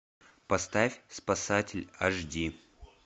поставь спасатель аш ди